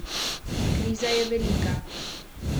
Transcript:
Kriza je velika.